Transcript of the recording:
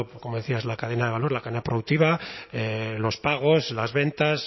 como decías la cadena de valor la cadena productiva los pagos las ventas